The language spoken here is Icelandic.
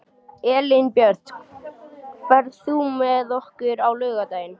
Elínbjört, ferð þú með okkur á laugardaginn?